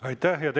Aitäh!